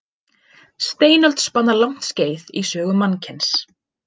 Steinöld spannar langt skeið í sögu mannkyns.